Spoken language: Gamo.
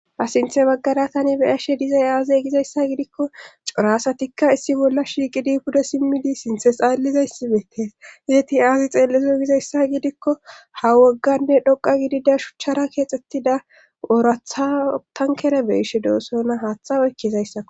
a sinthe baggara tani be ashe dizay aaze gizayssa gidikko corasatikka issi bolla shiiqidi pudo simmidi sinthe xaallizayssibeetees yeeti aazi xeellizo gizayssa gidikko ha wogganne dhoqa gidida shuchchara keexxettida woorathatankere beishe doosona haaththa oykkizayssa